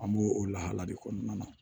An b'o o lahala de kɔnɔna na